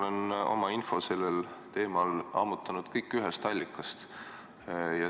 Mina olen kogu oma info selle teema kohta ammutanud ühest allikast.